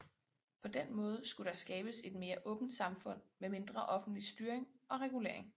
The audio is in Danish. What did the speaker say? På den måde skulle der skabes et mere åbent samfund med mindre offentlig styring og regulering